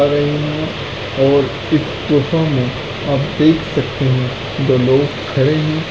-- और कीटो मे यहाँ पर देख सकते हैं दो लोग खड़े हैं।